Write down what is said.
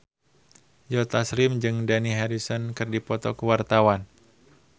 Joe Taslim jeung Dani Harrison keur dipoto ku wartawan